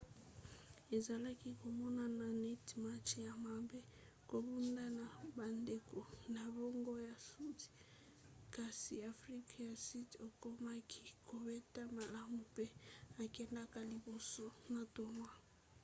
ezalaki komonnana neti match ya mabe kobunda na bandeko na bango ya sudi kasi afrika ya sudi akomaki kobeta malamu mpe akendaki liboso na tournoi